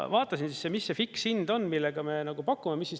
Vaatasin, mis see fikshind on, millega me pakume.